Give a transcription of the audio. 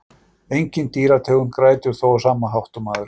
Engin dýrategund grætur þó á sama hátt og maðurinn.